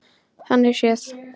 Þannig séð.